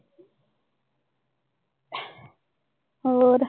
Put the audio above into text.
ਹੋਰ?